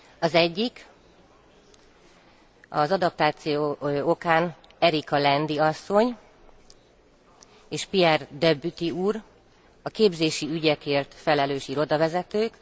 Az egyik az adaptáció okán Erica Landi asszony és Pierre Debaty úr, a képzési ügyekért felelős irodavezető.